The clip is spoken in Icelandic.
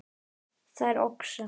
Þær oxa